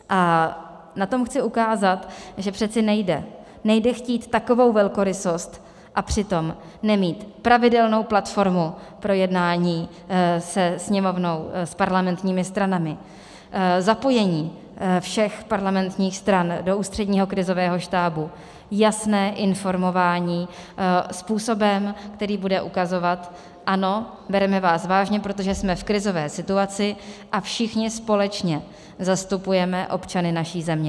A na tom chci ukázat, že přece nejde, nejde chtít takovou velkorysost, a přitom nemít pravidelnou platformu pro jednání se Sněmovnou, s parlamentními stranami, zapojení všech parlamentních stran do Ústředního krizového štábu, jasné informování způsobem, který bude ukazovat ano, bereme vás vážně, protože jsme v krizové situaci a všichni společně zastupujeme občany naší země.